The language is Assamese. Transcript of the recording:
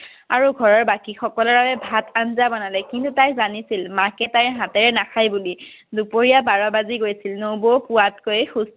আৰু ঘৰৰ বাকী সকলৰ বাবে ভাত আঞ্জা বনালে কিন্তু তাই জানিছিল মাকে তাইৰ হাতেৰে নাখাই বুলি। দুপৰীয়া বাৰ বাজি গৈছিল নবৌ হোৱাতকৈ